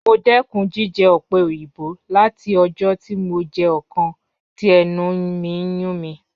Mo dẹkun jijẹ ope oyinbo lati ọjọ ti mo jẹ ọkan ti ẹnu mi n yun mi.